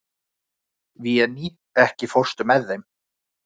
Véný, ekki fórstu með þeim?